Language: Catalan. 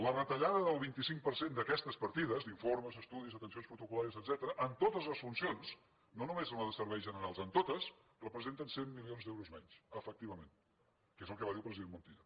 la retallada del vint cinc per cent d’aquestes partides d’informes estudis atencions protocol·làries etcètera en totes les funcions no només en la de serveis generals en totes representa cent milions d’euros menys efectivament que és el que va dir el president montilla